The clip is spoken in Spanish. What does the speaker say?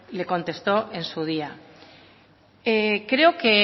le contestó en su día creo que